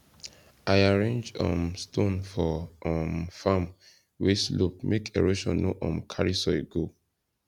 i arrange um stone for um farm wey slope make erosion no um carry soil go